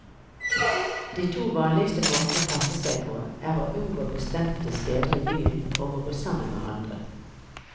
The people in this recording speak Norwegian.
De to vanligste måtene å passe seg på, er å unngå bestemte steder i byen og å gå sammen med andre.